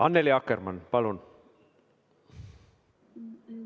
Annely Akkermann, palun!